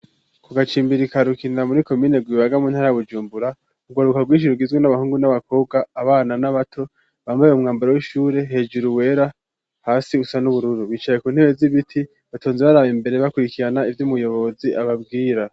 Ku gacimbirikarukinira muri komine gibagamu ntarabujumbura ugaruka rwisiruk izwe n'abahungu n'abakobwa abana n'abato bambaye umwambaro w'ishure hejuru wera hasi usa n'ubururu bicaye ku ntebe z'ibiti batonze baraba imbere bakurikirana iby'umuyobozi ababwira.